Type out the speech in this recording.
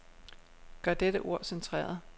Gør dette ord centreret.